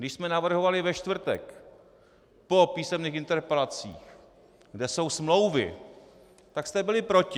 Když jsme navrhovali ve čtvrtek po písemných interpelacích, kde jsou smlouvy, tak jste byli proti.